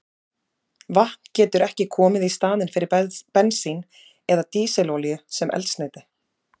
Vatn getur ekki komið í staðinn fyrir bensín eða dísilolíu sem eldsneyti.